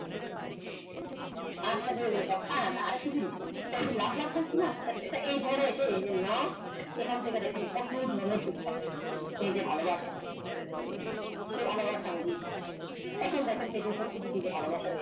আশা করি সব পারেন আরেক টা জিনিস এই গুলা এই লাভ লাভ বলছি না এটা এই ধারে এসে নাও এখান থেকে দেখেন কত ধরো picture রে এই যে ভালো বাসা সেই ভালো বাসা আমি দিয়ে দিলাম এখন দেখেন ভালোবাসা